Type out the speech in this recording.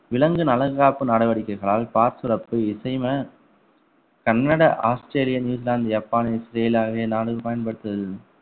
விலங்கு நலன் காப்பு நடவடிக்கைகளால் பால் சுரப்பு இசைம Canada Australia New Zealand Japan Israel ஆகிய நாடுகள் பயன்படுத்துகிறது